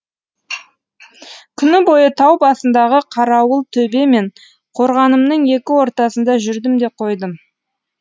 күні бойы тау басындағы қарауылтөбе мен қорғанымның екі ортасында жүрдім де қойдым